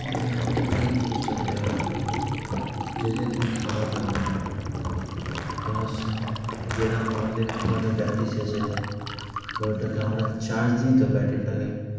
তুমি এখন থেকে এই জিনিসটা ভেবে খাবে, যদি তুমি খাবার খাবে না। তুমি স~ তুমি যেরম আমাদের battery শেষ হয়ে যায়, mobile টা তো charge দিতে হবে battery টাকে।